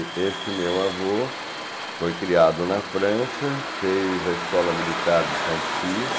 E este meu avô foi criado na França, fez a escola militar de Saint-Cyr,